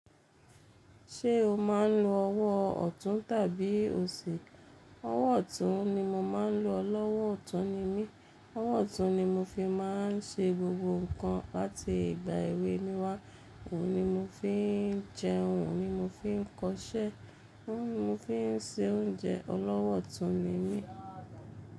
Ṣé o máa ń lo ọwọ́ ọ̀tún tàbí òsì? Ọwọ́ ọ̀tún ni mo máa ń lo. Olọ́wọ̀ ọ̀tún ni mí. Ọwọ́ ọ̀tún ni mo fi máa ń ṣe gbogbo nǹkan láti ìgbà èwe mi wá. Òhun ni mo fi ń jẹun, òhun ni mo fi ń kọṣẹ́, òhun ni mo fi ń se oúnjẹ. Olọ́wọ̀ ọ̀tún ni mí.